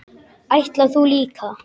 Ætlar þú líka?